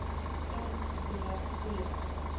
m b t